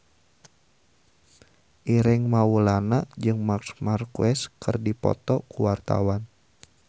Ireng Maulana jeung Marc Marquez keur dipoto ku wartawan